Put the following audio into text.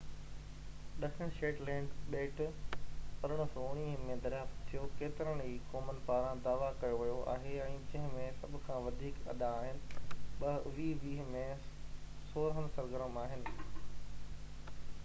ڏکڻ Shetland ٻيٽ، 1819 ۾ دريافت ٿيو، ڪيترين ئي قومن پاران دعويٰ ڪيو ويو آهي ۽ جنهن ۾ سڀ کان وڌيڪ اڏا آهن، 2020 ۾ سورهن سرگرم آهن